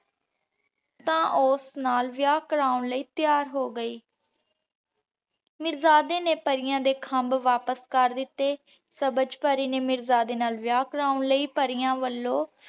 ਤਾਂ ਓਸ ਨਾਲ ਵਿਯਾਹ ਕਾਰਵੋਨ ਲੈ ਤਿਆਰ ਹੋ ਗਈ। ਮਿਰ੍ਜ਼ਾਦੇ ਨੇ ਪਾਰਿਯਾੰ ਦੇ ਖੰਭ ਵਾਪਿਸ ਕਰ ਦਿਤੇ। ਸਬਝ ਪਰੀ ਨੇ ਮਿਰ੍ਜ਼ਾਦੇ ਨਾਲ ਵਿਯਾਹ ਕਾਰਵੋਨ ਲੈ ਪਰਿਯਾੰ ਵਲੋਂ